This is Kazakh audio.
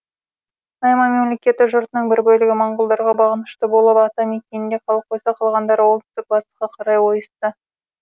найман мемлекеті жұртының бір бөлігі моңғолдарға бағынышты болып ата мекенінде қалып қойса қалғандары оңтүстік батысқа қарай ойысты